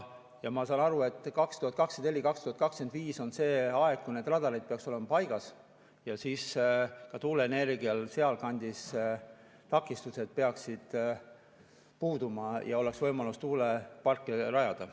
Ja ma saan aru, et 2024–2025 on see aeg, kui need radarid peaksid olema paigas, ja siis ka tuuleenergial peaksid sealkandis takistused puuduma ja oleks võimalus tuulepark rajada.